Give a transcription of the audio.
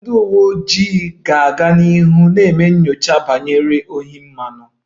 Ndị uwe ojii ga-aga n'ihu na-eme nyocha banyere ohi mmanụ